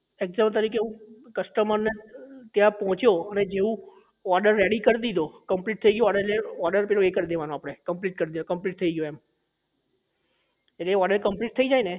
example તરીકે હું customer ને ત્યાં પહોંચ્યો ને જેવું order ready કરી દીધો complete થઇ ગયું order એટલે રીતે order પેલો એ કરી દેવાનો આપડે complete કરી દો complete દીધો એમ એટલે એ order complete થઇ જાય ને